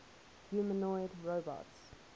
humanoid robots